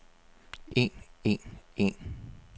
en en en